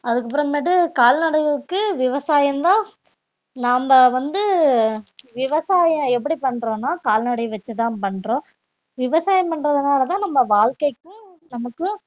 அதுக்கப்புறமேட்டு கால்நடைகளுக்கு விவசாயம்தான் நாம வந்து விவசாயம் எப்படி பண்றோம்னா கால்நடை வச்சுதான் பண்றோம் விவசாயம் பண்றதுனாலதான் நம்ம வாழ்க்கைக்கும் நமக்கும்